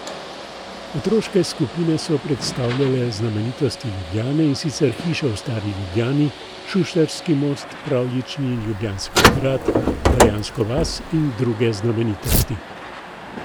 Otroške skupine so predstavljale znamenitosti Ljubljane in sicer hiše v stari Ljubljani, Šuštarski most, pravljični Ljubljanski grad, barjansko vas in druge znamenitosti.